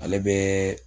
Ale bɛ